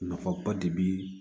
Nafaba de be